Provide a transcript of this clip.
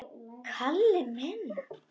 Kalli minn!